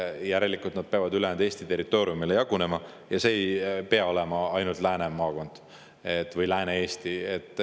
Järelikult nad peavad ülejäänud Eesti territooriumile jagunema ja see ei pea olema ainult Lääne maakond või Lääne-Eesti.